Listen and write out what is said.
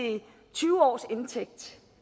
tyve års indtægt